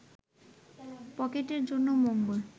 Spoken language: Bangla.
পকেটের জন্য মঙ্গল